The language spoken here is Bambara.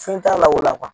Fɛn t'a la o la